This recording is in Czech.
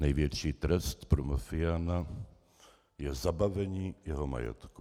Největší trest pro mafiána je zabavení jeho majetku.